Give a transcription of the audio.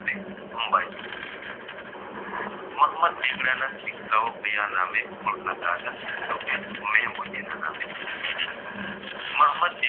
મોહમ્મદ બેગડાના સિક્કાઓ ક્યાં નામે ઓળખાતા હતા તો કે મેહબુદ્દીના નામે મોહમ્મદ